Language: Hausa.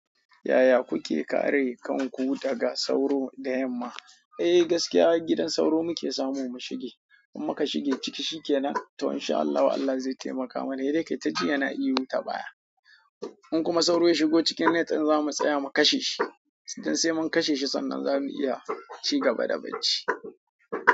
Yaya kuke kare kanku daga sauro da yamma? Eh gaskiya gidan sauro muke samu mu shige, in muka shige ciki shi ke nan to in sha Allah Allah zai taimaka mana, he dai kai ta ji yana iya wuta baya. In kuma sauro ya shigo cikin net din zamu tsaya mu kashe shi, sai mun kashe shi sannan zamu iya ci gaba da bacci.